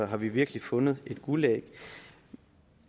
har vi virkelig fundet et guldæg